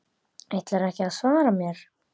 Ætlarðu ekki að svara mér?